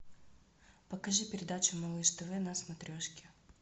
покажи передачу малыш тв на смотрешке